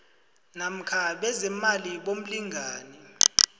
namkha bezeemali bomlingani